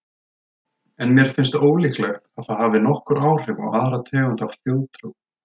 En mér finnst ólíklegt að það hafi nokkur áhrif á aðra tegund af þjóðtrú.